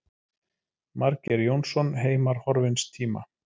Margeir Jónsson, Heimar horfins tíma.